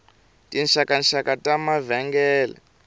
tinxakanxaka ta mavengele